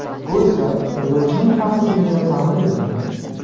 Bu esa yo‘lovchining xavfsizligini ta’minlaydi.